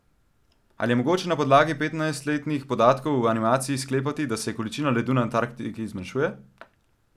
Ali je mogoče na podlagi petnajstletnih podatkov v animaciji sklepati, da se količina ledu na Antarktiki zmanjšuje?